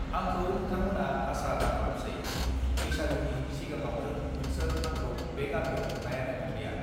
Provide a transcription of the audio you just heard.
आंखौ नोंथांमोना आसा दाखालामसै बैसागुनि सिगांङावनो नोंसोर आंखौ बे गामियाव नुनायानो नंलिया